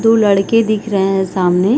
दो लड़के दिख रहे है सामने --